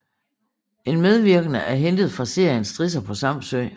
En medvirkende er hentet fra serien Strisser på Samsø